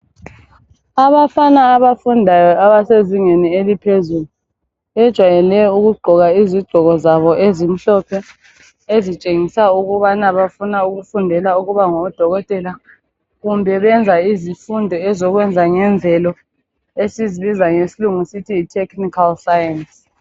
Abafana abafundayo abasezingeni eliphezulu bejwayele ukugqoka izigqoko zabo ezimhlophe ezitshengisa ukubana bafuna ukufundela ukuba ngodokotela kumbe benza izifundo ezokwenza ngemvele esizibiza ngesilungu sithi yi technical science.